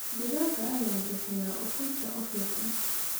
Digaagga ayaa bixiya ukunta ugu fiican.